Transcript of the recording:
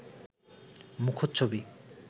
মুখোচ্ছবি